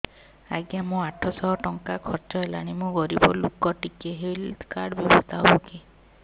ଆଜ୍ଞା ମୋ ଆଠ ସହ ଟଙ୍କା ଖର୍ଚ୍ଚ ହେଲାଣି ମୁଁ ଗରିବ ଲୁକ ଟିକେ ହେଲ୍ଥ କାର୍ଡ ବ୍ୟବସ୍ଥା ହବ କି